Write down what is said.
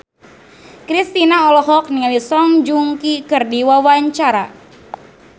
Kristina olohok ningali Song Joong Ki keur diwawancara